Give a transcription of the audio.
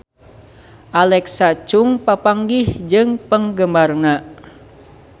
Alexa Chung papanggih jeung penggemarna